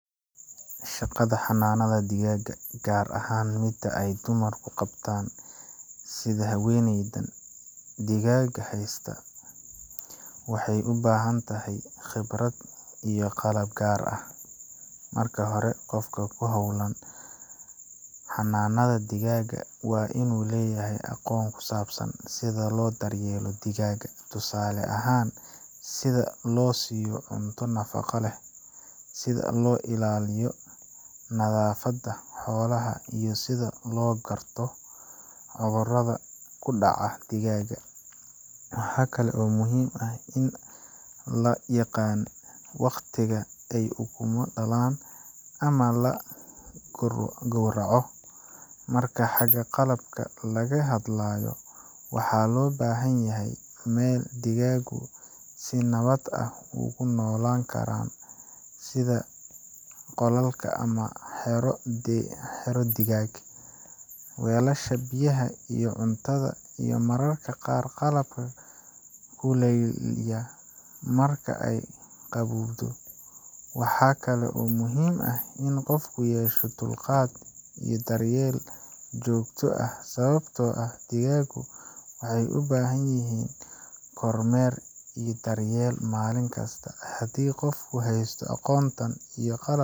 Shaqada xanaanada digaagga, gaar ahaan midda ay dumarku qabtaan sida haweeneydan digaagga haysta, waxay u baahan tahay khibrad iyo qalab gaar ah. Marka hore, qofka ku hawlan xanaanada digaagga waa inuu leeyahay aqoon ku saabsan sida loo daryeelo digaagga tusaale ahaan, sida loo siiyo cunto nafaqo leh, sida loo ilaaliyo nadaafadda xoolaha, iyo sida loo garto cudurrada ku dhaca digaagga. Waxa kale oo muhiim ah in la yaqaan waqtiga ay ukumo dhalaan ama la gowraco. Marka xagga qalabka laga hadlayo, waxaa loo baahan yahay meel digaaggu si nabad ah ugu noolaan karaan, sida qolal ama xero digaag, weelasha biyaha iyo cuntada, iyo mararka qaar qalab kuleylaya marka ay qabowdo. Waxa kale oo muhiim ah in qofku yeesho dulqaad iyo daryeel joogto ah, sababtoo ah digaaggu waxay u baahan yihiin kormeer iyo daryeel maalin kasta. Haddii qofku haysto aqoontan iyo qalabkan.